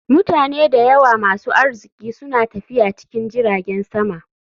Mutane da yawa masu arziki suna tafiya cikin jiragen sama.